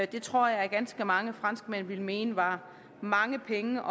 det tror jeg ganske mange franskmænd ville mene var mange penge